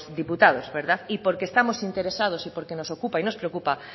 diputados verdad y porque estamos interesados y porque nos ocupa y nos preocupa